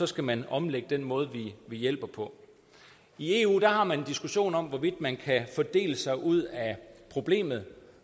skal man omlægge den måde vi hjælper på i eu har man en diskussion om hvorvidt man kan fordele sig ud af problemet